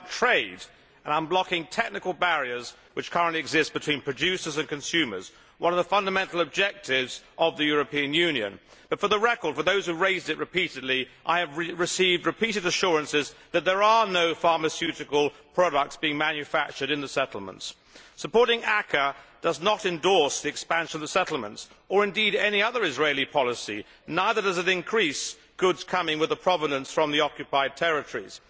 It is about trade and unblocking technical barriers which currently exist between producers and consumers one of the fundamental objectives of the European Union For the record, and for those who have raised the issue repeatedly, I have received repeated assurances that there are no pharmaceutical products being manufactured in the settlements. Supporting ACAA does not endorse the expansion of settlements or indeed any other Israeli policy, neither does it increase goods with a provenance from the occupied territories.